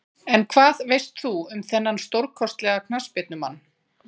En hvað veist þú um þennan stórkostlega knattspyrnumann?